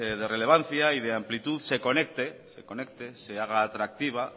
de relevancia y de amplitud se conecte se haga atractiva